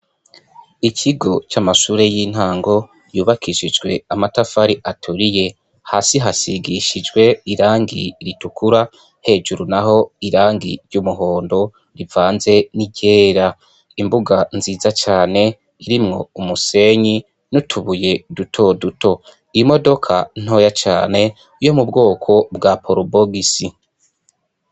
Ikigo c'amashure y'intango yubakishijwe amatafari atoriye hasi hasigishijwe irangi ritukura hejuru na ho irangi ry'umuhondo rivanze n'iryera imbuga nziza cane irimwo umusenyi n'utubuye dutoduto imodoko ka ntoya cane wiyo mu bwoko bwa porubogisi.